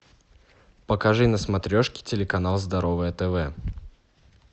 покажи на смотрешке телеканал здоровое тв